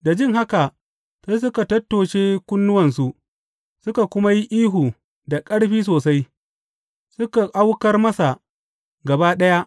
Da jin haka sai suka tattoshe kunnuwansu, suka kuma yi ihu da ƙarfi sosai, suka aukar masa gaba ɗaya.